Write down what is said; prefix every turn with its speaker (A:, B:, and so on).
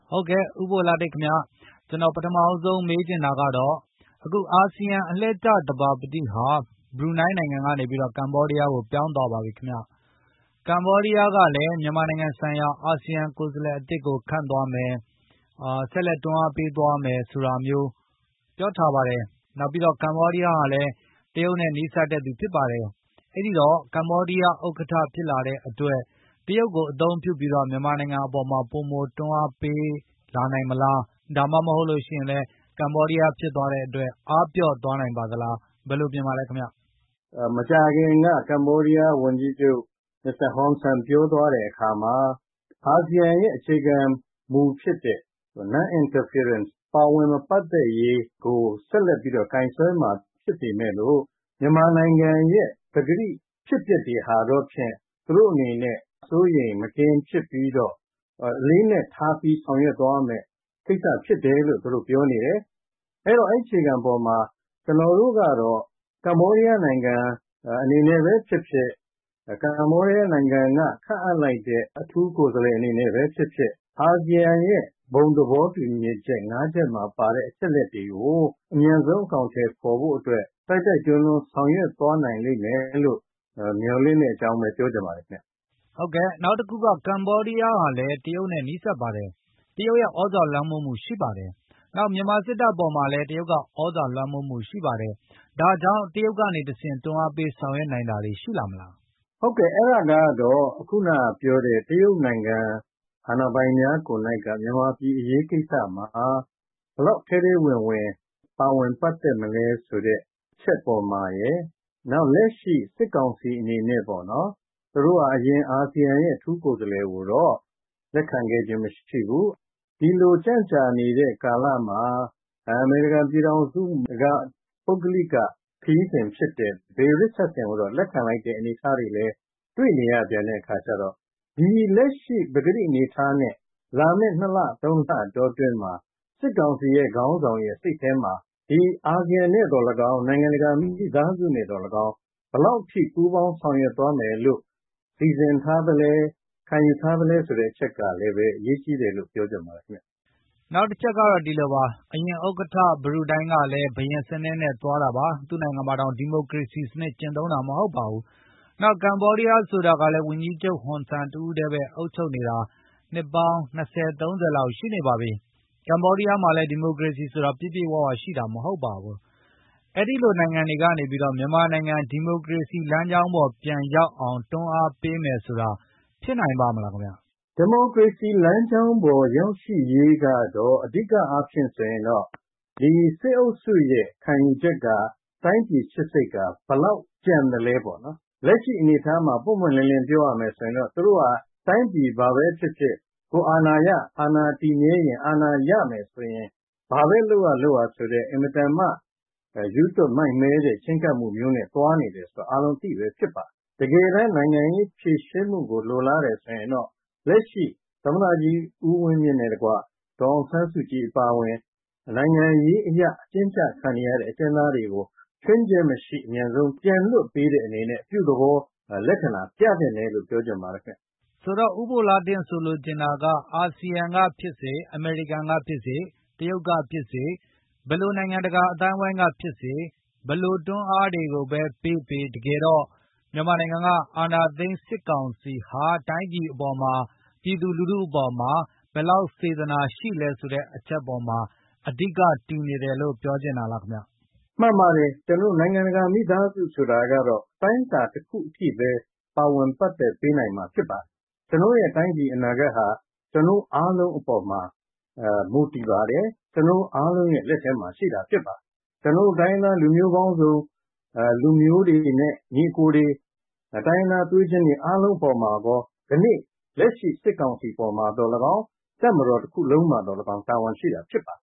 A: ဟုတ်ကဲ့ဦးဘိုလှတင်ခင်ဗျ၊ ကျနော်ပထမဆုံးမေးချင်တာကတော့ အခုအာဆီယံ အလှည့်ကျ ဥက္ကဌဟာ ဘရူနိုင်းကနေ ကမ္ဘောဒီးယားကိုပြောင်းသွားပါပြီခင်ဗျ၊ ကမ္ဘောဒီးယားကလည်း မြန်မာနိုင်ငံဆိုင်ရာအာဆီယံကိုယ်စားလှယ်သစ်ကို ခန့်အပ်သွားမယ်၊ ဆက်လက်တွန်းအားပေးသွားမယ် ဆိုတာမျိုးလည်း ပြောထားပါတယ်။ နောက်ပြီးတော့ ကမ္ဘောဒီးယားဟာလည်း တရုတ်နဲ့နီးစပ်တဲ့သူဖြစ်ပါတယ်။ အဲဒိ တော့ကမ္ဘောဒီးယား ဥက္ကဌဖြစ်လာတဲ့အတွက် တရုတ်ကိုအသုံးပြုပြီးမြန်မာနိုင်ငံပေါ်မှာ ပိုမိုတွန်းအား ပေးနိုင်တာတွေဖြစ်လာမလား၊ ဒါမှမဟုတ် ကမ္ဘောဒီးယားဖြစ်သွားတဲ့အတွက် အားပျော့သွားနိုင်ပါလား။ ဘယ်လိုမြင်ပါသလဲခင်ဗျ။
B: မကြာခင်က ကမ္ဘောဒီးယားဝန်ကြီးချုပ် မစ္စတာဟွန်ဆန်ပြောသွားတဲ့အခါမှာ အာဆီယံရဲ့အခြေခံမူဖြစ် တဲ့ Noninterference ဝင်ရောက်မစွက်ဖက်ရေးကိုဆက်လက်ပြီးတော့ကိုင်စွဲမှာဖြစ်ပေမယ်လို့ မြန်မာနိုင်ငံရဲ့ပကတိ အဖြစ်အပျက်တွေဟာတော့ဖြင့် သူတို့အနေနဲ့စိုးရိမ်မကင်းဖြစ်ပြီးတော့အလေး အနက်ထားပြီးဆောင်ရွက်သွားရမယ့် ကိစ္စဖြစ်တယ်လို့သူတို့ပြောနေတယ်၊ အဲဒိတော့အဲဒိအခြေခံ အပေါ်မှာ ကျနော်တို့ကတော့ ကမ္ဘောဒီးယားနိုင်ငံအနေနဲ့ဘဲဖြစ်ဖြစ်၊ ကမ္ဘောဒီးယားနိုင်ငံကခန့်အပ် လိုက်တဲ့ အထူးကိုယ်စားလှယ်အနေနဲ့ဘဲဖြစ်ဖြစ် အာစီယံရဲ့ဘုံသဘောတူညီချက်မှာပါတဲ့ အချက် အလက်တွေကို အမြန်ဆုံးအကောင်အထည်ဖေါ်ဖို့အတွက် တိုက်တိုက်တွန်းတွန်းဆောင်ရွက် သွားနိုင်လိမ့်မယ်လို့ မျှော်လင့်တဲ့အကြောင်းဘဲပြောချင်ပါတယ်ခင်ဗျ။
A: နောက်တခုက ကမ္ဘောဒီးယားဟာလည်းတရုတ်နဲ့နီးစပ်ပါတယ်။ တရုတ်ရဲ့သြဇာလွှမ်းမိုးမှုရှိပါတယ်။ နောက်မြန်မာစစ်တပ်အပေါ်မှာလည်း တရုတ်သြဇာလွှမ်းမိုးမှုရှိပါတယ်။ ဒါကြောင့် တရုတ်ကနေ တဆင့်တွန်းအားပေးဆောင်ရွက်နိုင်တာတွေရှိလာမလား။
B: ဟုတ်ကဲ့အဲဒါကတော့ အခုနပြောတဲ့တရုတ်နိုင်ငံ အာဏာပိုင်များကိုယ်၌က မြန်မာပြည်အရေးမှာ ဘယ်လောက်ထဲထဲဝင်ဝင်ပါဝင်ပတ်သက်မလဲဆိုတဲ့ အချက်ပေါ်မှာရယ်၊ နောက်လက်ရှိ စစ်ကောင်စီ အနေနဲ့ပေါ့နော် အရင်အာဆီယံရဲ့အထူးကိုယ်စားလှယ်ကိုတော့ လက်ခံခဲ့ခြင်းမရှိဘူး ဒီလိုကျန့်ကြာ နေတဲ့ကာလမှာ အမေရိကန်ပြည်ထောင်စုက ပုဂ္ဂလိကခရီးစဉ်ဖြစ်တဲ့ ဘေ ရစ်ချတ်ဆင် ကိုတော့လက်ခံလိုက်တဲ့အနေအထားတွေလည်းတွေ့နေရတဲ့အခါကျပြန်တော့ ဒီလက်ရှိ ပကတိအနေအထားနဲ့လာမယ့် နှစ်လသုံးလအတော်အတွင်းမှာ စစ်ကောင်စီရဲ့ ခေါင်းဆောင်ရဲ့ စိတ်ထဲမှာဒီအာဆီယံနဲ့သော်လည်းကောင်း၊ နိုင်ငံတကာမိသားစုနဲ့သော်လည်းကောင်းဘယ်လောက် အထိပူးပေါင်းဆောင် ရွက်သွားမယ်လို့စီစဉ်ထားသလဲ၊ ခံယူထားသလဲဆိုတဲ့အချက်ကလည်းဘဲ အရေးကြီးတယ်လို့ပြော ချင်ပါတယ်ခင်ဗျ။
A: နောင်တချက်ကတော့ အရင်ဥက္ကဌ ဘရူနိုင်းကလည်း ဘုရင်စနစ်နဲ့သွားတာ၊ သူ့နိုင်ငံမှာတောင် ဒီမိုကရေစီစနစ်ကျင့်သုံးတာမဟုတ်ပါဘူး၊ နောက် ကမ္ဘောဒီးယားဆိုတာကလည်း ဝန်ကြီးချု့ပ်ဟွန် ဆန် တဦးထဲအုပ်ချုပ်နေတာ နှစ်ပေါင်း ၂၀၊ ၃၀ လောက်ရှိနေပါပြီ ဒီမိုကရေစီဆိုတာ အပြည့်အဝရှိတာ မဟုတ်ပါဘူး။ အဲဒိလို နိုင်ငံတွေက နေမြန်မာနိုင်ငံဒီမိုကရေစီလမ်းကြောင်းပေါ်ပြန် ရောက်အောင်တွန်း အားပေးမယ်ဆိုတာ ဖြစ်နိုင်ပါ့မလားခင်ဗျ။
B: ဒီမိုကရေစီလမ်းကြောင်းပေါ်ရောက်ရှိရေးကတော့ အဓိကအားဖြင့်ဆိုရင်တော့ ဒီစစ်အုပ်စုရဲ့ခံယူချက် ကတိုင်းပြည်ချစ်စိတ်ကဘယ်လောက်ကျန်သလဲပေါ့နော် လက်ရှိအနေအထားမှာပွင့်ပွင့်လင်းလင်း ပြောရမယ်ဆိုရင်တော့သူတို့က တိုင်းပြည်ဘာဘဲဖြစ်ဖြစ်ကိုယ်အာဏာရ၊ အာဏာတည်မြဲရင်၊ အာဏာရမယ်ဆိုရင် ဘာလဲလုပ်ရလုပ်ရဆိုတဲ့ရူးသွပ်မိုက်မဲတဲ့ချဉ်းကပ်မှုမျိုးနဲ့သွားနေတယ်ဆိုတာ အားလုံးအသိဘဲဖြစ်ပါတယ်။ တကယ်တမ်းနိုင်ငံရေးဖြေရှင်းမှုကို လိုလားတယ်ဆိုရင်တော့လက်ရှိ သမတကြီး ဦးဝင်မြင့်နဲ့တကွ ဒေါ်အောင်ဆန်းစုကြည်အပါအဝင် နိုင်ငံရေးအရအကျဉ်းကျခံနေရတဲ့ အကျဉ်းသားတွေ ချွင်းချက်မရှိ အမြန်ဆုံးပြန်လွှတ်ပေးတဲ့အနေနဲ့ အပြုသဘောလက္ခဏာပြသင့်တယ် လို့ပြောချင်ပါတယ်ခင်ဗျ။
A: ဆိုတော့ ဦးဘိုလှတင့်ဆိုလိုချင်တာက အာဆီယံကဖြစ်စေ၊ အမေရိကန်ဖြစ်စေ၊ တရုတ်ကဖြစ်စေ ဘယ်လိုနိုင်ငံတကာ အသိုင်းအဝိုင်းကဖြစ်စေ၊ ဘယ်လိုတွန်းအားတွေပေးပေး တကယ်ကတော့ အာဏာသိမ်းစစ်ကောင်စီဟာ တိုင်းပြည်အပေါ်၊ ပြည်သူလူထုအပေါ် ဘယ်လောက်စေတနာရှိလဲ ဆိုတဲ့အချက်အပေါ်မှာ အဓိကတည်နေတယ်လို့ ပြောချင်တာလား။
B: မှန်ပါတယ် ကျနော်တို့နိုင်ငံတကာမိသားစုဆိုတာကတော့ အတိုင်းအတာတခုအထိဘဲပါဝင်ပတ်သက် ပေးနိုင်မှာဖြစ်ပါတယ်။ ကျနော်တို့ရဲ့တိုင်းပြည်အနာဂတ်ဟာ ကျနော်တို့အားလုံးအပေါ်မှာ မူတည်ပါ တယ်။ ကျနော်တို့အားလုံးရဲ့လက်ထဲမှာရှိတာဖြစ်ပါတယ်။ ကျနော်တို့တိုင်းရင်းသားပေါင်းစုံ လူမျိုးတွေနဲ့ ညီအကိုတွေ တိုင်းရင်းသားသွေးချင်းတွေအားလုံးအပေါ်မှာကော၊ ကနေ့စစ်ကောင်စီ အပေါ်မှာသော် လည်းကောင်း တပ်မတော်တခုလုံးမှာသော်လည်းကောင်း တာဝန်ရှိတာဖြစ်ပါ